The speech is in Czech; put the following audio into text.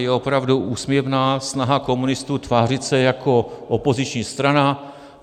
Je opravdu úsměvná snaha komunistů tvářit se jako opoziční strana.